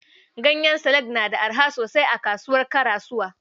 Ganyen salak na da araha sosai a kasuwar Karasuwa.